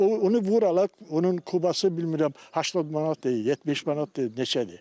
O onu vur alır, onun kubası bilmirəm 80 manatdır, 70 manatdır, neçədir.